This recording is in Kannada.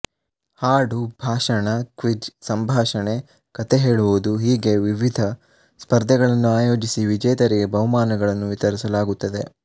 ಹಾಡು ಭಾಷಣ ಕ್ವಿಝ್ ಸಂಭಾಷಣೆ ಕಥೆ ಹೇಳುವುದು ಹೀಗೆ ವಿವಿಧ ಸ್ಪರ್ಧೆಗಳನ್ನು ಆಯೋಜಿಸಿ ವಿಜೇತರಿಗೆ ಬಹುಮಾನಗಳನ್ನು ವಿತರಿಸಲಾಗುತ್ತದೆ